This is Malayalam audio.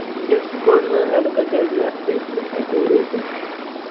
ഇന്റെ school ന്ന് ഏടക്കൊക്കെ പോയിട്ടിണ്ട് ഏ tour പോയിക്കണ്.